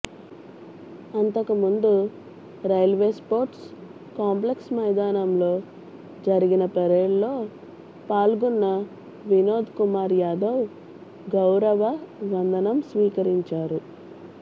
అంతకు ముందు railway sports complex మైదానంలో జరిగిన పరేడ్లో పాల్గొన్న వినోద్ కుమార్ యాదవ్ గౌరవ వందనం స్వీకరించారు